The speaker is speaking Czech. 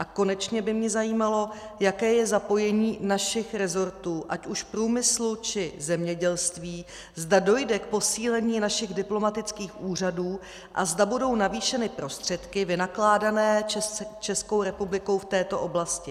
A konečně by mě zajímalo, jaké je zapojení našich rezortů, ať už průmyslu, či zemědělství, zda dojde k posílení našich diplomatických úřadů a zda budou navýšeny prostředky vynakládané Českou republikou v této oblasti.